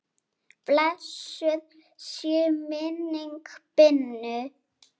Blessuð sé minning Binnu.